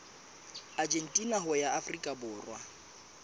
argentina ho ya afrika borwa